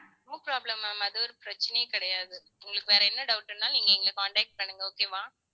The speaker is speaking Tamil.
no problem ma'am அது ஒரு பிரச்சனையே கிடையாது. உங்களுக்கு வேற என்ன doubt னாலும் நீங்க, எங்களை contact பண்ணுங்க okay வா